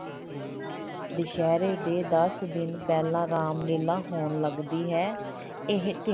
ਦੁਸਹਿਰੇ ਦੇ ਦਸ ਦਿਨ ਪਹਿਲਾਂ ਰਾਮ ਲੀਲਾ ਹੋਣ ਲੱਗਦੀ ਹੈ ਇਹ ਤਿ